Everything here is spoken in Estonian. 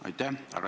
Aitäh!